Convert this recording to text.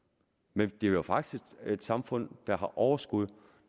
men det er jo faktisk et samfund der har overskud